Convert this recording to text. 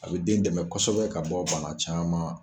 A bɛ den dɛmɛ kosɛbɛ ka bɔ bana caman